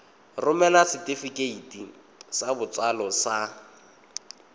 romela setefikeiti sa botsalo sa